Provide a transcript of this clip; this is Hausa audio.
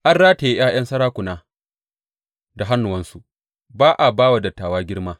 An rataye ’ya’yan sarakuna da hannuwansu; ba a ba wa dattawa girma.